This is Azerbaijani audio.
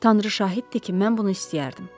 Tanrı şahiddir ki, mən bunu istəyərdim.